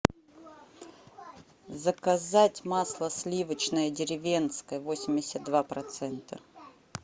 заказать масло сливочное деревенское восемьдесят два процента